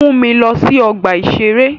Mu mi lọ sí ọgbà-ìṣeré